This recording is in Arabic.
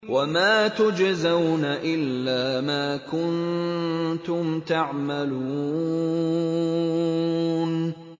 وَمَا تُجْزَوْنَ إِلَّا مَا كُنتُمْ تَعْمَلُونَ